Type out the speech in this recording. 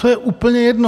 To je úplně jedno.